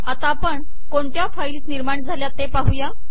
आता आपण कोणत्या फाईल्स निर्माण झाल्या ते पाहुया